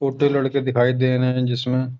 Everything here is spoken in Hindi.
खोटे लड़के दिखाई दे रहे है जिसमें